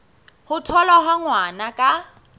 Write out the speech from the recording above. ho tholwa ha ngwana ka